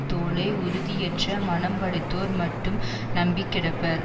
தோளை உறுதியற்ற மனம் படைத்தோர் மட்டும் நம்பிக் கிடப்பர்